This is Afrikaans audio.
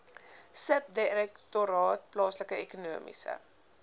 subdirektoraat plaaslike ekonomiese